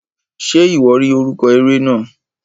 Ṣe iwọ ri orúkọ eré náà?